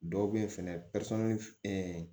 Dɔw bɛ yen fɛnɛ